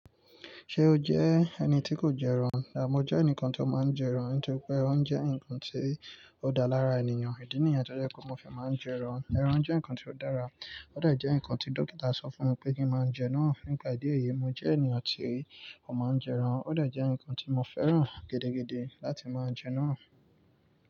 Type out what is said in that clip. Ṣé o jẹ́ ẹni tí kò jẹ ẹran? Rárá, mo jẹ́ ẹnìkan tí ó máa ń jẹ ẹran. Nítorí pé ẹran jẹ́ nǹkan tí ó dára lára ènìyàn. Ìdí nìyẹn tó jẹ́ pe mo fi máa ń jẹ ẹran. Ẹran jẹ́ nǹkan tí ó dára. Ó dẹ̀ jẹ́ nǹkan tí dókítà sọ fún mi pé kí n máa jẹ naa nípa ìdí èyí, mo jẹ́ ènìyàn tí ó máa ń jẹ ẹran. Ó dẹ̀ jẹ́ nǹkan tí mo fẹ́ràn gidigidi láti máa jẹ naa.